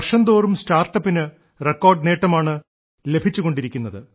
വർഷംതോറും സ്റ്റാർട്ടപ്പിന് റെക്കോർഡ് നേട്ടമാണ് ലഭിച്ചുകൊണ്ടിരിക്കുന്നത്